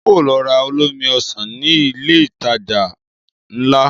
Ń ó lọ ra olómi Ọsàn ní ilé ìtajà ńlá